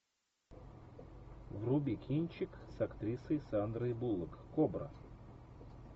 вруби кинчик с актрисой сандрой буллок кобра